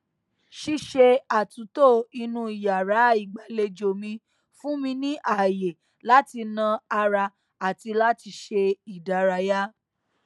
ṣíṣe àtúntò inú yàrá ìgbàlejò mi fún mi ààyè láti na ara àti láti ṣe ìdárayá